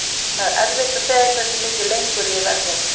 Það er erfitt að segja hversu mikið lengur ég verð hérna.